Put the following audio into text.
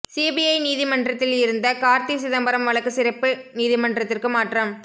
CBI நீதிமன்றத்தில் இருந்த கார்த்தி சிதம்பரம் வழக்கு சிறப்பு நீதிமன்றத்திற்கு மாற்றம்